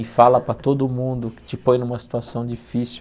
E fala para todo mundo, te põe numa situação difícil.